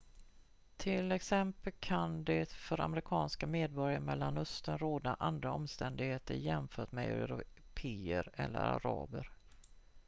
till exempel kan det för amerikanska medborgare i mellanöstern råda andra omständigheter jämfört med européer eller araber